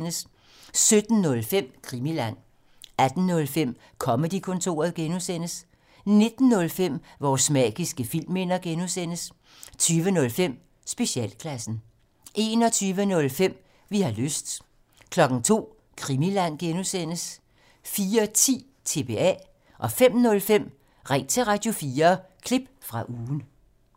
17:05: Krimiland 18:05: Comedy-kontoret (G) 19:05: Vores magiske filmminder (G) 20:05: Specialklassen 21:05: Vi har lyst 02:00: Krimiland (G) 04:10: TBA 05:05: Ring til Radio4 – klip fra ugen